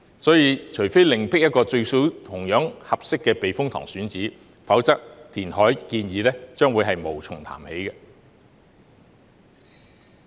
所以，除非另覓一個同樣合適的避風塘選址，否則填海建議將會無從談起。